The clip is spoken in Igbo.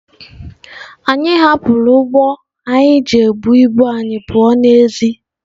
anyị hapụrụ ụgbọ anyị ji ebu ibu anyị pụọ n'èzí.